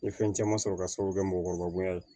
N ye fɛn caman sɔrɔ ka sababu kɛ mɔgɔkɔrɔba ye